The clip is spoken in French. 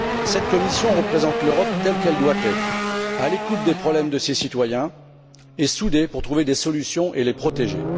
Cette commission représente l'Europe telle qu'elle doit être à l'écoute des problèmes de ses citoyens et soudée pour trouver des solutions et les protéger.